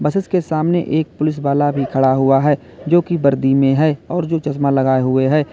Buses के सामने एक पुलिस वाला भी खड़ा हुआ है जोकि वर्दी में है और जो चश्मा लगाए हुए है।